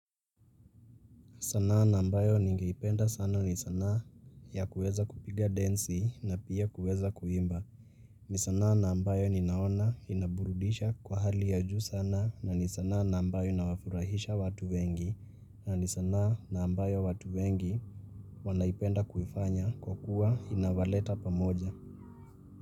Sanaa na ambayo nigeipenda sana ni sanaa ya kuweza kupiga densi na pia kuweza kuimba. Ni sanaa na ambayo ninaona inaburudisha kwa hali ya juu sana na ni sanaa na ambayo inawafurahisha watu wengi na ni sanaa na ambayo watu wengi wanaipenda kuifanya kwa kuwa inawaleta pamoja.